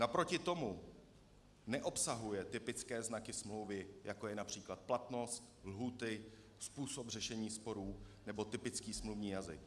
Naproti tomu neobsahuje typické znaky smlouvy, jako je například platnost, lhůty, způsob řešení sporů nebo typický smluvní jazyk.